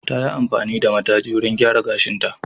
Ta yi amfani da mataji wurin gyara gashinta.